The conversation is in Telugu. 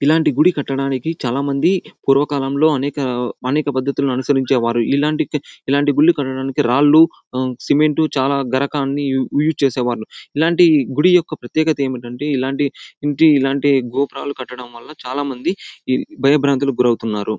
ఇలాంటి గుడి కట్టడానికి చాలా మంది పూర్వకాలంలో అనేక అనేక పద్దతులను అనుసరించేవారు. ఇలాంటి ఇలాంటి గుడ్లు కట్టడానికి రాళ్ళూ సిమెంట్ చాలా యూ యూస్ చేసేవాళ్లు. ఇలాంటి గుడి యొక్క ప్రత్యేకత ఏమిటి అంటే ఇలాంటి ఇంటి ఇలాంటి గోపురాలు కట్టడం వళ్ళ చాలా మంది ఈ భయభ్రాంతులకు గురి అవుతున్నారు.